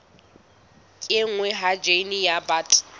kenngwa ha jine ya bt